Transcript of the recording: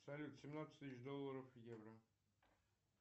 салют семнадцать тысяч долларов в евро